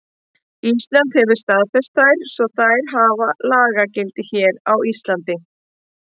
Ísland hefur staðfest þær svo þær hafa lagagildi hér á landi.